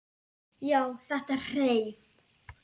Já, þetta hreif!